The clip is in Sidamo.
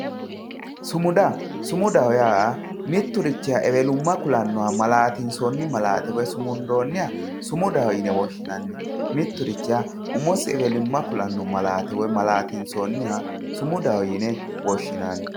Sumuda sumudaho yaa mitturichiha ewelumma kulannoha malaatinsoonni malaate woyi sumundoonniha sumudaho yine woshshinanni mitturichiha umosi ewelumma kulanno maaate woyi malaatinsoonniha sumudaho yine woshshinanni